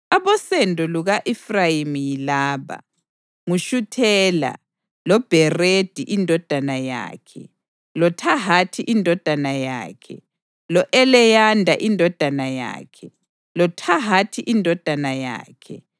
Abosendo luka-Efrayimi yilaba: nguShuthela, loBheredi indodana yakhe, loThahathi indodana yakhe, lo-Eleyada indodana yakhe, loThahathi indodana yakhe,